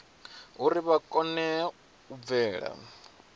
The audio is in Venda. uri vha kone u bvela